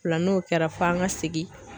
O la n'o kɛra f'an ka segin